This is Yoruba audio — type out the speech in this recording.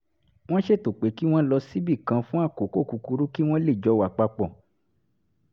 wọ́n ṣètò pé kí wọ́n lọ síbì kan fún àkókò kúkúrú kí wọ́n lè jọ wà pa pọ̀